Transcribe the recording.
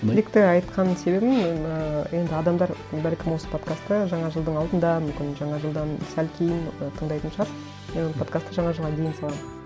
тілекті айтқан себебім ыыы енді адамдар бәлкім осы подкастты жаңа жылдың алдында мүмкін жаңа жылдан сәл кейін ы тыңдайтын шығар і подкастты жаңа жылға дейін саламын